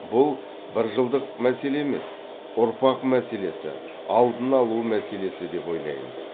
бұл бір жылдық мәселе емес ұрпақ мәселесі алдын алу мәселесі деп ойлаймыз